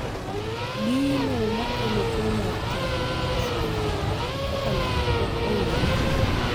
gino makelo tuo mar thirno mag fuondi mamoko kaka lep pok ong'ere chutho